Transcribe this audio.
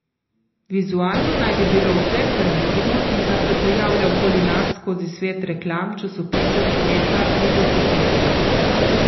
Vizualno naj bi bilo vse, kar vidimo in kar se pojavlja okoli nas skozi svet reklam, časopisov, spleta, videoposnetkov.